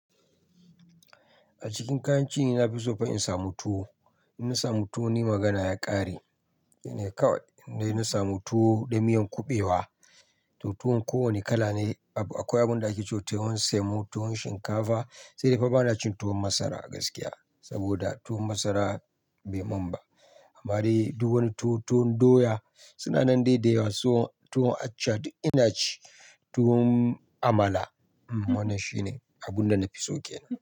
A cikin kayan ci na fiso fa in samu tuwo. In na samu tuwo ni magana ya ƙare. Shine kawai in dai na samu tuwo da miyan kuɓewa, to tuwon ko wani kala ne. Akwai abin da ake cema, tuwon semo, tuwon shinkafa sai dai fa ba na cin tuwon masara a gaskiya saboda tuwo masara bai mun ba. Amma dai duk wani tuwo, tuwon doya suna nan dai da yawa. Tuwon accha duk ina ci, tuwon amala. Wannan shine abun da na fiso kenan.